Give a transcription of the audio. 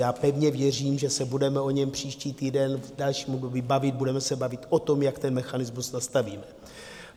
Já pevně věřím, že se budeme o něm příští týden v dalším období bavit, budeme se bavit o tom, jak ten mechanismus nastavíme.